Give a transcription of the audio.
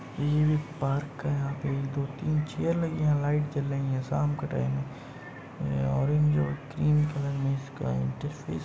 View एक park का है यहाँ पे दो तीन चेयर लगीं हैं। यहाँ लाइट जल रहीं है शाम का टाइम है। ऑरेंज और ग्रीन कलर में इसका इंटरफेस --